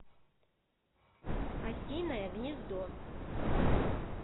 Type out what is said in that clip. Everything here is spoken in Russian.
осиное гнездо